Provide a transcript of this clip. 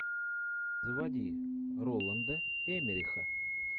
заводи роланда эммериха